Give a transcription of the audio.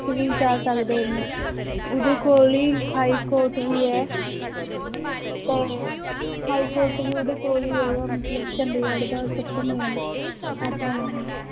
ਚ ਵੀ ਜਾ ਸਕਦੇ ਨੇ ਉਹਦੇ ਕੋਲ ਹੀ high court ਵੀ ਹੈ ਤੇ high court ਵੀ ਉਹਦੇ ਕੋਲ ਹੀ ਹੈਗਾ ਮਤਲਬ ਚੰਡੀਗੜ੍ਹ ਦਾ ਸਭ ਤੋਂ main ਏਦਾਂ ਹੈ